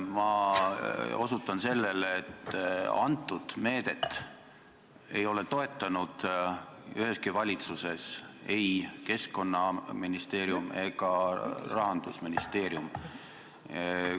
Ma osutan sellele, et antud meedet ei ole toetanud üheski valitsuses ei Keskkonnaministeerium ega Rahandusministeerium.